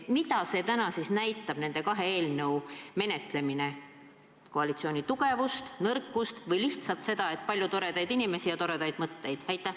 Mida täna siis näitab nende kahe eelnõu menetlemine, koalitsiooni tugevust, nõrkust või lihtsalt seda, et on palju toredaid inimesi ja toredaid mõtteid?